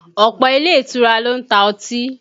Ọ̀pọ̀ ilé ìtura ló ń ta ọtí